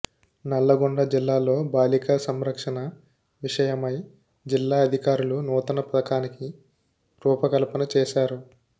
నల్లగొండ జిల్లాలోబాలికా సంరక్షణ విషయమై జిల్లా అధికారులు నూతన పథకానికి రూపకల్పన చేశారు